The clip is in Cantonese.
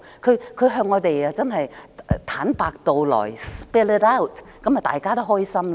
若她能向我們坦白道來，這樣大家都開心。